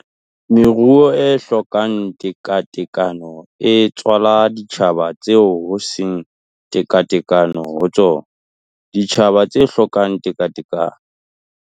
Meruo e hlokang tekatekano e tswala ditjhaba tseo ho seng tekatekano ho tsona, ditjhaba tse hlokang tekatekano